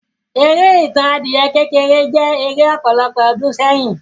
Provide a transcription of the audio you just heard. Eré Ìtàn adìyẹ kékeré jẹ́ eré ọ̀pọ̀lọpọ̀ ọdún sẹ́yìn.